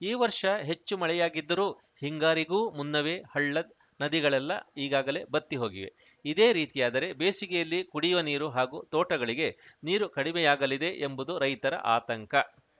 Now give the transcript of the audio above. ಈ ವರ್ಷ ಹೆಚ್ಚು ಮಳೆಯಾಗಿದ್ದರೂ ಹಿಂಗಾರಿಗೂ ಮುನ್ನವೇ ಹಳ್ಳ ನದಿಗಳೆಲ್ಲ ಈಗಾಗಲೇ ಬತ್ತಿ ಹೋಗಿವೆ ಇದೇ ರೀತಿಯಾದರೆ ಬೇಸಿಗೆಯಲ್ಲಿ ಕುಡಿಯುವ ನೀರು ಹಾಗೂ ತೋಟಗಳಿಗೆ ನೀರು ಕಡಿಮೆಯಾಗಲಿದೆ ಎಂಬುದು ರೈತರ ಆತಂಕ